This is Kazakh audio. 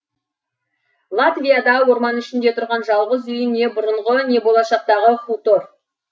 латвияда орман ішінде тұрған жалғыз үй не бұрынғы не болашақтағы хутор